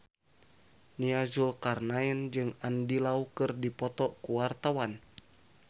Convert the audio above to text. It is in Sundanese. Nia Zulkarnaen jeung Andy Lau keur dipoto ku wartawan